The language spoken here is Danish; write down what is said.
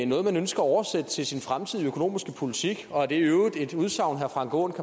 noget man ønsker at oversætte til sin fremtidige økonomiske politik og er det i øvrigt et udsagn herre frank aaen